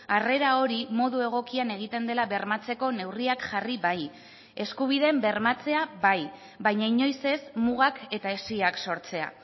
harrera hori modu egokian egiten dela bermatzeko neurriak jarri bai eskubideen bermatzea bai baina inoiz ez mugak eta hesiak sortzea